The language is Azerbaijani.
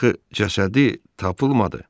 Axı cəsədi tapılmadı.